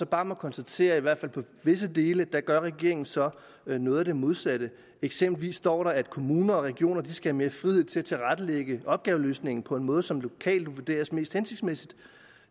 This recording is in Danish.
bare konstatere i hvert fald på visse dele at regeringen så gør noget af det modsatte eksempelvis står der at kommuner og regioner skal have mere frihed til at tilrettelægge opgaveløsningen på en måde som lokalt vurderes mest hensigtsmæssigt